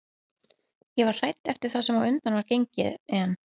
Ég var hrædd eftir það sem á undan var gengið en